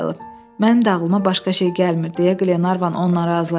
Mənim ağlıma başqa şey gəlmir deyə Qlenarvan onunla razılaşdı.